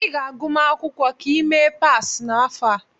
Ị ga-agụma akwụkwọ ka ị mee pass n'afọ a.